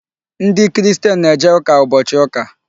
Ndị Christian na-eje ụka ụbọchị ụka.